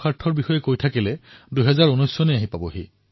এই সকলো ১৩০ কোটি দেশবাসীৰ অৰ্থৱহ প্ৰয়াসৰ দ্বাৰা সম্ভৱ হৈছে